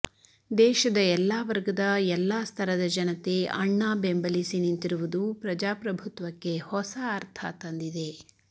ದೇಶದ ಎಲ್ಲಾ ವರ್ಗದ ಎಲ್ಲಾ ಸ್ತರದ ಜನತೆ ಅಣ್ಣಾ ಬೆಂಬಲಿಸಿ ನಿಂತಿರುವುದು ಪ್ರಜಾಪ್ರಭುತ್ವಕ್ಕೆ ಹೊಸ ಅರ್ಥ ತಂದಿದೆ